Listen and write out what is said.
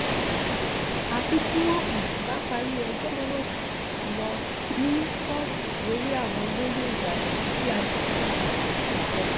àfi tí wọ́n um bá parí ẹjọ́ tó ń um lọ ní kóòtù lórí àwọn olóyè ìbàdàn tí ajímọ́bì fi jọba